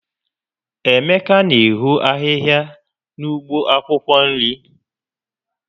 Emeka n'eho ahịhịa na ụgbọ akwụkwọ nri